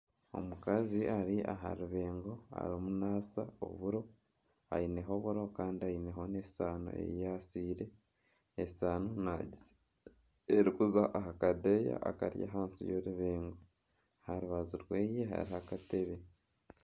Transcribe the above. Omukazi ari aha rubeengo arimu naasa oburo. Aineho oburo Kandi aineho n'esaano eyi yaasire. Esaano nagisa erikuza aha kadeyi akari ahansi y'orubeengo. Aha rubaju rweye hariho akatebe.